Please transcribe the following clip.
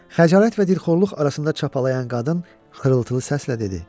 Xəcalət və dilxorluq arasında çapalıyan qadın xırıltılı səslə dedi.